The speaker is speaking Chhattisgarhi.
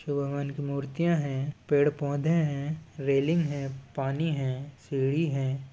शिव भगवान की मूर्तियां है पेड़ -पौधे है रेलिंग है पानी है सीढ़ी हैं।